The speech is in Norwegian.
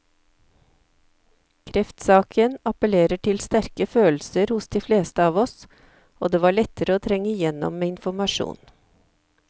Kreftsaken appellerer til sterke følelser hos de fleste av oss, og det var lettere å trenge igjennom med informasjon.